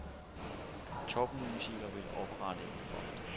Topmusikere vil oprette en fond.